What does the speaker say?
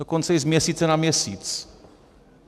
Dokonce i z měsíce na měsíc.